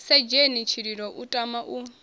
sedzheni tshililo u tama u